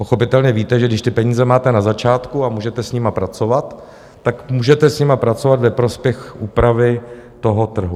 Pochopitelně víte, že když ty peníze máte na začátku a můžete s nimi pracovat, tak můžete s nimi pracovat ve prospěch úpravy toho trhu.